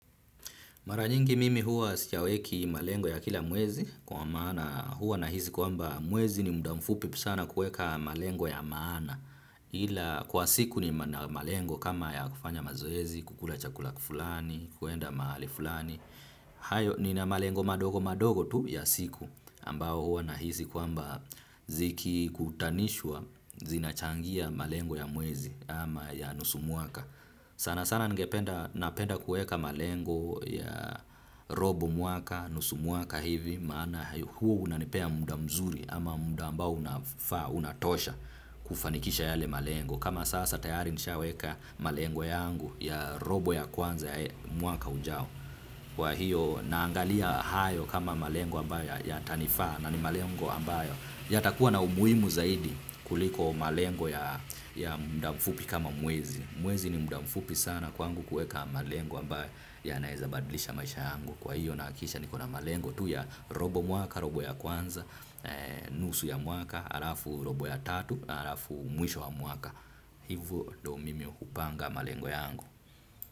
Maranyingi mimi huwa siyaweki malengo ya kila mwezi kwa maana huwa nahizi kwamba mwezi ni muda mfupi sana kuweka malengo ya maana. Kwa siku nina malengo kama ya kufanya mazoezi, kukula chakula fulani, kuenda mahali fulani. Hayo nina malengo madogo madogo tu ya siku ambao huwa nahisi kwamba zikikutanishwa zinachangia malengo ya mwezi ama ya nusu mwaka. Sana sana ningependa, napenda kuweka malengo ya robo mwaka, nusu mwaka hivi, maana huo unanipea muda mzuri ama muda ambao unafaa, unatosha kufanikisha yale malengo. Kama sasa tayari nishaweka malengo yangu ya robo ya kwanza ya mwaka ujao. Kwa hiyo naangalia hayo kama malengo ambayo yata nifaa na ni malengo ambayo. Yatakuwa na umuhimu zaidi kuliko malengo ya muda mfupi kama mwezi. Mwezi ni muda mfupi sana kwangu kuweka malengo ambaye yanaezabadlisha maisha yangu. Kwa hivyo nahakikisha niko na malengo tu ya robo mwaka, robo ya kwanza, nusu ya mwaka, alafu robo ya tatu, alafu mwisho wa mwaka. Hivyo do mimi upanga malengo yangu.